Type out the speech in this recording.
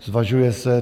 Zvažuje se...